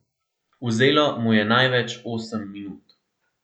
Vzelo mu je največ osem minut.